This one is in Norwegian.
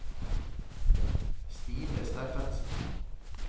Stine Steffensen